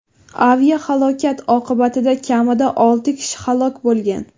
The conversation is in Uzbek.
Aviahalokat oqibatida kamida olti kishi halok bo‘lgan.